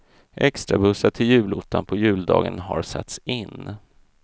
Extrabussar till julottan på juldagen har satts in.